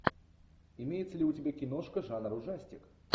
имеется ли у тебя киношка жанр ужастик